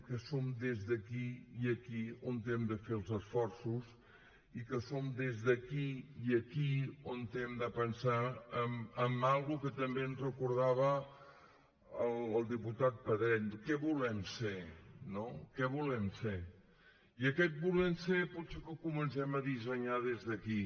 que som des d’aquí i aquí on hem de fer els esforços i que som des d’aquí i aquí on hem de pensar en alguna cosa que també ens recordava el diputat pedret no què volem ser què volem ser i aquest volem ser potser que el comencem a dissenyar des d’aquí